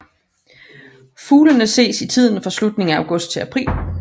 Fuglene ses i tiden fra slutningen af august til april